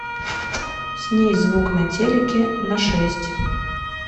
снизь звук на телике на шесть